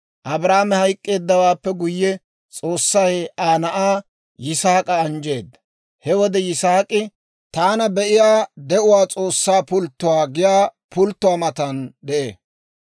Abrahaame hayk'k'eeddawaappe guyye, S'oossay Aa na'aa Yisaak'a anjjeedda. He wode Yisaak'i, «Taana Be'iyaa De'uwaa S'oossaa Pulttuwaa» giyaa pulttuwaa matan de'ee.